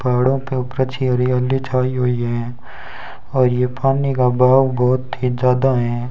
पहाड़ों के ऊपर अच्छी हरियली छाई हुई है और यह पानी का भाव बहुत ही ज्यादा हैं।